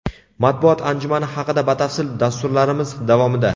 Matbuot anjumani haqida batafsil dasturlarimiz davomida.